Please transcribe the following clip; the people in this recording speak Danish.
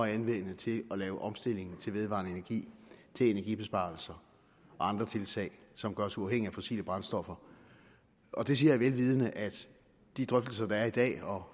at anvende til at lave omstilling til vedvarende energi til energibesparelser og andre tiltag som gør os uafhængige af fossile brændstoffer og det siger jeg vel vidende at de drøftelser der er i dag og